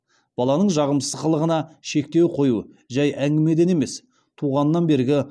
баланың жағымсыз қылығына шектеу қою жай әңгімеден емес туғаннан бергі